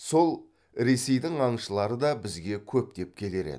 сол ресейдің аңшылары да бізге көптеп келер еді